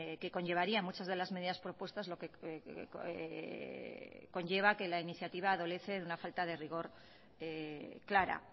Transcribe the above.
que conllevarían muchas de las medidas propuestas lo que conlleva que la iniciativa adolece de una falta de rigor clara